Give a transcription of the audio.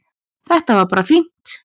Þetta var bara fínt